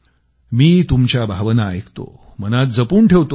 मी तुमच्या भावना ऐकतो मनात जपून ठेवतो